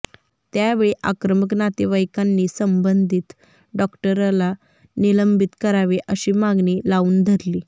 त्यावेळी आक्रमक नातेवाईकांनी संबंधित डॉक्टरला निलंबित करावे अशी मागणी लावून धरली